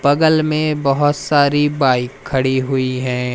बगल में बहोत सारी बाइक खड़ी हुई है।